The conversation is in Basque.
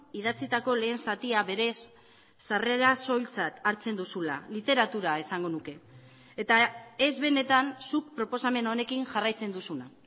idatzitako lehen zatia berez sarrera soiltzat hartzen duzula literatura esango nuke eta ez benetan zuk proposamen honekin jarraitzen duzuna